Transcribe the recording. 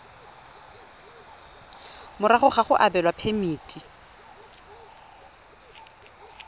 morago ga go abelwa phemiti